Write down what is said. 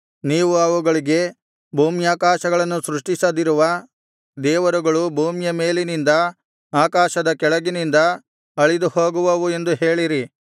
ನೀವು ಅವುಗಳಿಗೆ ಭೂಮ್ಯಾಕಾಶಗಳನ್ನು ಸೃಷ್ಟಿಸದಿರುವ ದೇವರುಗಳು ಭೂಮಿಯ ಮೇಲಿನಿಂದ ಆಕಾಶದ ಕೆಳಗಿನಿಂದ ಅಳಿದುಹೋಗುವವು ಎಂದು ಹೇಳಿರಿ